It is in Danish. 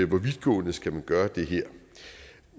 hvor vidtgående skal man gøre det her